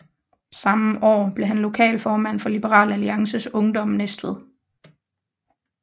Samme år blev han lokalformand for Liberal Alliances Ungdom Næstved